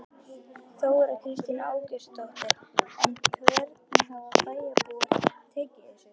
Þóra Kristín Ásgeirsdóttir: En hvernig hafa bæjarbúar tekið þessu?